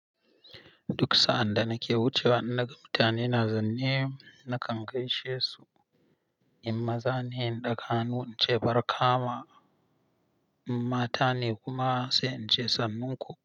Duk sa'anda nake wuce wa annanan mutane, na zanne nakan gaishe su, in maza ne inɗaga hannu in ce barka ma, in mata ne kuma sai in ce sannunku.